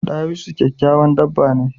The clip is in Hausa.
Dawisu kyakyawan dabba ne